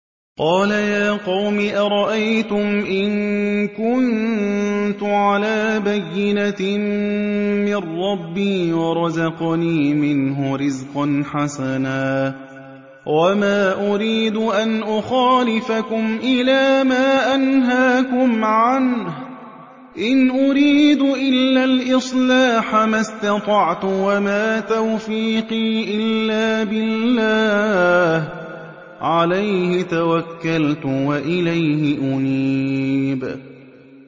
قَالَ يَا قَوْمِ أَرَأَيْتُمْ إِن كُنتُ عَلَىٰ بَيِّنَةٍ مِّن رَّبِّي وَرَزَقَنِي مِنْهُ رِزْقًا حَسَنًا ۚ وَمَا أُرِيدُ أَنْ أُخَالِفَكُمْ إِلَىٰ مَا أَنْهَاكُمْ عَنْهُ ۚ إِنْ أُرِيدُ إِلَّا الْإِصْلَاحَ مَا اسْتَطَعْتُ ۚ وَمَا تَوْفِيقِي إِلَّا بِاللَّهِ ۚ عَلَيْهِ تَوَكَّلْتُ وَإِلَيْهِ أُنِيبُ